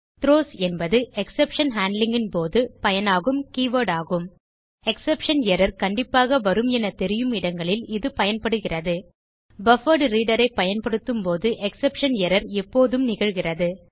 throws என்பது exception handling போது பயனாகும் கீவர்ட் ஆகும் எக்ஸெப்ஷன் எர்ரர் கண்டிப்பாக வரும் என தெரியும் இடங்களில் இது பயன்படுகிறது பஃபர்ட்ரீடர் ஐ பயன்படுத்தும் போது எக்ஸெப்ஷன் எர்ரர் எப்போதும் நிகழ்கிறது